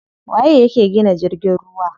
Waye yake gina jirgin ruwa?